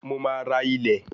Mo máa ra ilẹ̀